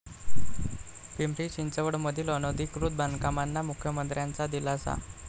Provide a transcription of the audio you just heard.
पिंपरी चिंचवडमधील अनधिकृत बांधकामांना मुख्यमंत्र्यांचा दिलासा